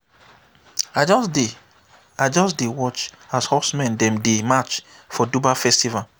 i just dey i just dey watch as horsemen dem dey match for dubar festival.